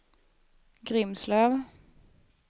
Grimslöv